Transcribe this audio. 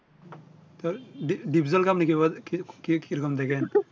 তো ড ডিপজল কে আপনি কি রকম দেখেন